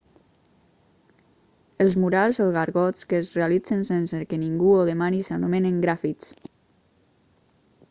els murals o gargots que es realitzen sense que ningú ho demani s'anomenen grafits